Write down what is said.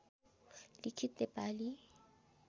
लिखित नेपाली